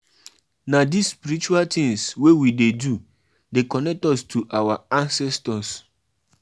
I wan um put the ceremony for holiday time so dat my pikin wey dey boarding school um go come back.